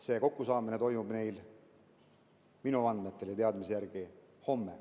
See kokkusaamine toimub neil minu andmetel ja minu teadmise järgi homme.